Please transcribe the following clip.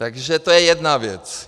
Takže to je jedna věc.